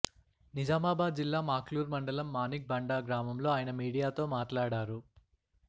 నిజామాబాద్ జిల్లా మాక్లూర్ మండలం మాణిక్ బండార్ గ్రామంలో ఆయన మీడియాతో మాట్లాడారు